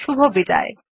শুভবিদায়